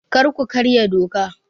Kar ku karya doka!